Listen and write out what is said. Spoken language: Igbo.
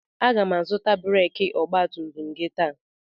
Aga m azụta breekị ọgbatumtum gị taa.